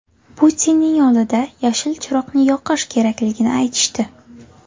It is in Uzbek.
Putinning oldida ‘yashil chiroqni yoqish’ kerakligini aytishdi.